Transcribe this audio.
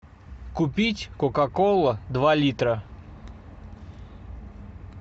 купить кока кола два литра